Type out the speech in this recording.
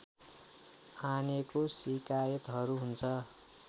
आनेको शिकायतहरू हुन्छ